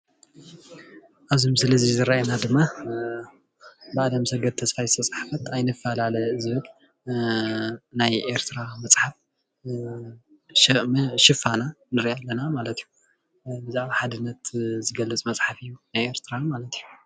ኣብዚ ምስሊ ዝርአየና ድማ ብኣለምሰገድ ተስፋይ ዝተፅሓፈ ኣይንፋላለ ዝብል ናይ ኤርትራ መፅሓፍ ሽፋና ንሪኣ ኣለና ማለት እዩ። ብዛዕባ ሓድነት ዝገልፅ መፅሓፍ እዩ። ናይ ኤርትራን ማለት እዩ።